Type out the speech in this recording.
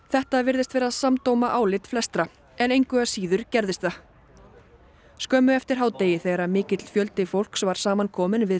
þetta virðist samdóma álit flestra en engu að síður gerðist það skömmu eftir hádegi þegar mikill fjöldi fólks var saman kominn við